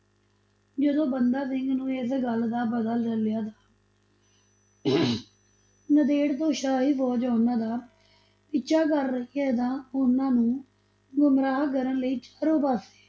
ਜਦੋਂ ਬੰਦਾ ਸਿੰਘ ਨੂੰ ਇਸ ਗੱਲ ਦਾ ਪਤਾ ਚੱਲਿਆ ਤਾਂ ਨੰਦੇੜ ਤੋਂ ਸ਼ਾਹੀ ਫੋਜ਼ ਉਨਾਂ ਦਾ ਪਿੱਛਾ ਕਰ ਰਹੀ ਹੈ, ਤਾਂ ਉਨ੍ਹਾਂ ਨੂੰ ਗੁਮਰਾਹ ਕਰਨ ਲਈ ਚਾਰੋਂ ਪਾਸੇ